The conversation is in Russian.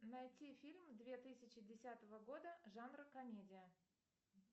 найти фильм две тысячи десятого года жанр комедия